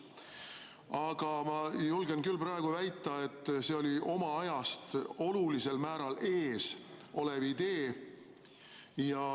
Aga ma julgen küll väita, et see oli oma ajast olulisel määral ees olev idee.